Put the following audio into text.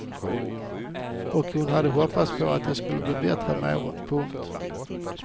Och hon hade hoppats att det skulle bli bättre med åren. punkt